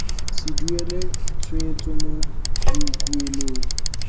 se duelwe tshwetso mo boikuelong